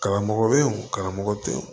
Karamɔgɔ bɛ yen o karamɔgɔ tɛ yen